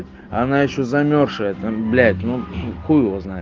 она ещё замёрзшая блять ну хуй его знает